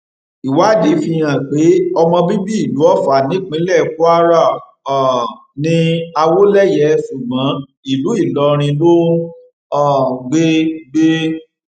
ìwádìí fihàn pé ọmọ bíbí ìlú ọfà nípínlẹ kwara um ní àwọléyé ṣùgbọn ìlú ìlọrin ló ń um gbé gbé